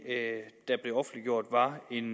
at det var en